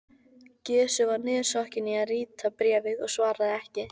Gizur var niðursokkinn í að rita bréfið og svaraði ekki.